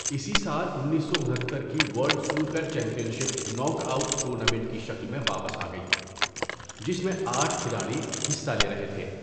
اسی سال، ۱۹۶۹ کی world snooker championship knockout tournament کی شکل میں واپس آگئی، جس میں آٹھ کھلاڑی حصہ لے رہے تھے۔